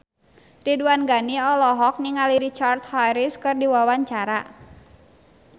Ridwan Ghani olohok ningali Richard Harris keur diwawancara